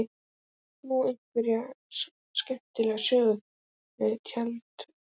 Átt þú einhverja skemmtilega sögur tengda fótbolta?